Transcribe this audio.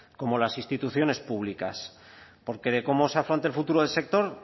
como las instituciones públicas porque de cómo se afronte el futuro del sector